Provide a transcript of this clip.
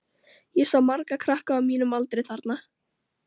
Ég sá marga krakka á mínum aldri þarna.